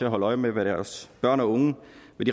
holde øje med hvad deres børn og unge